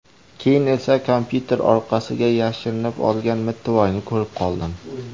Keyin esa kompyuter orqasiga yashirinib olgan mittivoyni ko‘rib qoldim”.